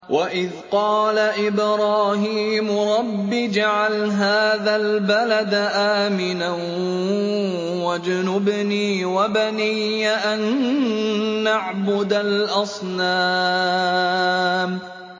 وَإِذْ قَالَ إِبْرَاهِيمُ رَبِّ اجْعَلْ هَٰذَا الْبَلَدَ آمِنًا وَاجْنُبْنِي وَبَنِيَّ أَن نَّعْبُدَ الْأَصْنَامَ